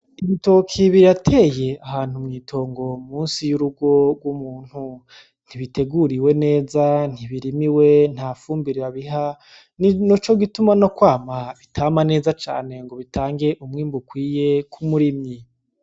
Ibitoki birateye ahantu mw'itongo munsi y'urugo ry'umuntu, ntibiteriwe neza, ntibirimiwe ,ntafumbire babiha nicogituma nokwama bitama neza cane, ngo bitange umwimbu ukwiye k'umurimyi.